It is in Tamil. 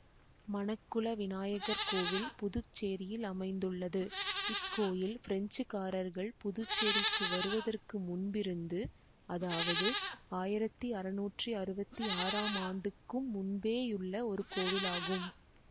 மணக்குள விநாயகர் கோவில் புதுச்சேரியில் அமைந்துள்ளது இக்கோயில் பிரெஞ்சுக்காரர்கள் புதுச்சேரிக்கு வருவதற்கு முன்பிருந்து அதாவது ஆயிரத்தி அறுநூற்றி அறுவத்தி ஆறாம் ஆண்டுக்கும் முன்பேயுள்ள ஒரு கோவில் ஆகும்